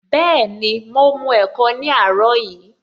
Bẹẹni, mo mu ẹ̀kọ ní àárọ̀ yìí